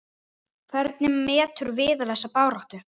Hvernig metur Viðar þessa baráttu?